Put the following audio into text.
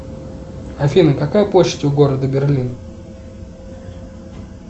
афина какая почта у города берлин